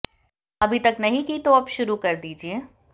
अभी तक नहीं की तो अब शुरू कर दीजिए